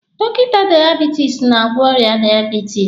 Dọkịta daiebitisi na-agwọ ọrịa daiebitisi.